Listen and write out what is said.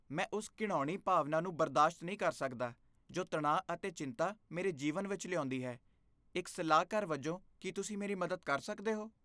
ਮੈਂ ਉਸ ਘਿਣਾਉਣੀ ਭਾਵਨਾ ਨੂੰ ਬਰਦਾਸ਼ਤ ਨਹੀਂ ਕਰ ਸਕਦਾ ਜੋ ਤਣਾਅ ਅਤੇ ਚਿੰਤਾ ਮੇਰੇ ਜੀਵਨ ਵਿੱਚ ਲਿਆਉਂਦੀ ਹੈ, ਇੱਕ ਸਲਾਹਕਾਰ ਵਜੋਂ, ਕੀ ਤੁਸੀਂ ਮੇਰੀ ਮਦਦ ਕਰ ਸਕਦੇ ਹੋ?